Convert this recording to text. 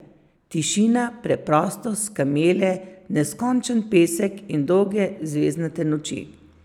Tišina, preprostost, kamele, neskončen pesek in dolge zvezdnate noči.